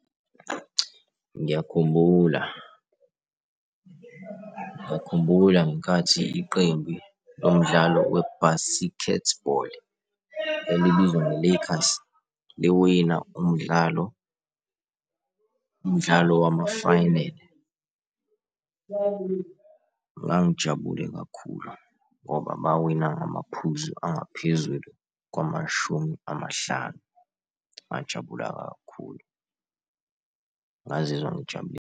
Ngiyakhumbula, ngiyakhumbula ngenkathi iqembu lomdlalo we-basketball elibizwa nge-Lekers liwina umdlalo, umdlalo wama-final ngangijabule kakhulu ngoba bawina ngamaphuzu angaphezulu kwamashumi amahlanu, ngajabula kakhulu ngazizwa ngijabulile.